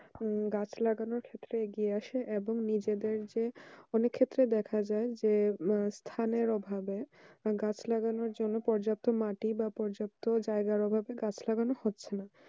উম গাছ লাগানোর ক্ষেত্রে এবং নিজেদের যে অনেক ক্ষেত্রে দেখা যায় যে স্থানের অভাবে গাছ লাগানোর জন্য পর্যাপ্ত মাটি বা পর্যাপ্ত জায়গার অভাবে গাছ লাগানো হচ্ছে না